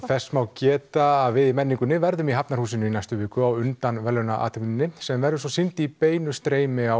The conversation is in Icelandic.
þess má geta að við í menningunni verðum í Hafnarhúsinu í næstu viku á undan sem verður svo sýnd í beinu streymi á